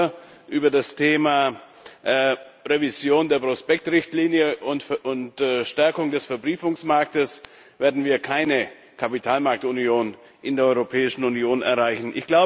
Nur über das Thema Revision der Prospektrichtlinie und Stärkung des Verbriefungsmarktes werden wir keine Kapitalmarktunion in der Europäischen Union erreichen.